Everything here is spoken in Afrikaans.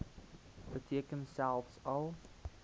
beteken selfs al